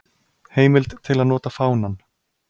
Heimild til að nota fánann.